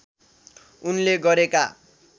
उनले गरेका